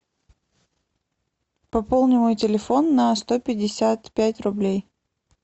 пополни мой телефон на сто пятьдесят пять рублей